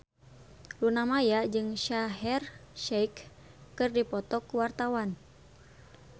Luna Maya jeung Shaheer Sheikh keur dipoto ku wartawan